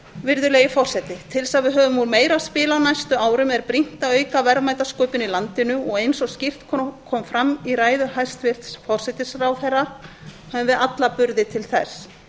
virðulegi forseti til þess að við höfum úr meiru að spila á næstu árum er brýnt að auka verðmætasköpun í landinu og eins og skýrt kom fram í ræðu hæstvirts forsætisráðherra höfum við alla burði til þess